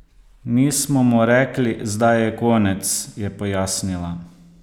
Nismo mu rekli: "Zdaj je konec," je pojasnila.